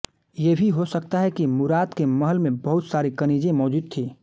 ये भी हो सकता है कि मुराद के महल में बहुत सारी कनीज़ें मौजूद थी